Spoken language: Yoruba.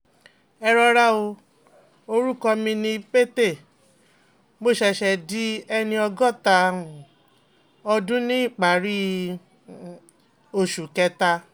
erora o, orúkọ mi ni Pete, mo ṣẹ̀ṣẹ̀ di ẹni ọgọ́ta um ọdún ní ìparí um oṣù Kẹta